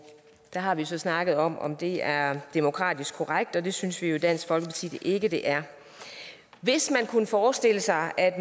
har vi så snakket om om det er demokratisk korrekt og det synes vi jo i dansk folkeparti ikke det er hvis man kunne forestille sig at